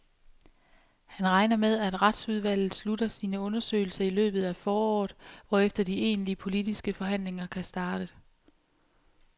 Han regner med, at retsudvalget slutter sine undersøgelser i løbet af foråret, hvorefter de egentlige, politiske forhandlinger kan starte.